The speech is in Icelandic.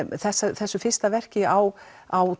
þessu þessu fyrsta verki á á